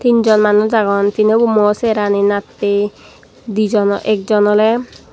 tin jon manuj agon tinobo mui chengerano nattye dijon ekjon oley.